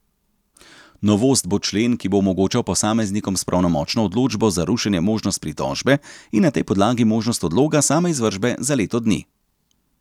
Novost bo člen, ki bo omogočal posameznikom s pravnomočno odločbo za rušenje možnost pritožbe in na tej podlagi možnost odloga same izvršbe za leto dni.